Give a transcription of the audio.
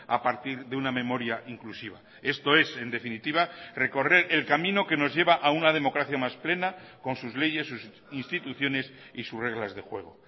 a partir de una memoria inclusiva esto es en definitiva recorrer el camino que nos lleva a una democracia más plena con sus leyes sus instituciones y sus reglas de juego